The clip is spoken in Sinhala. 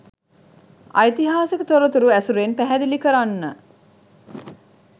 ඓතිහාසික තොරතුරු ඇසුරෙන් පැහැදිලි කරන්න.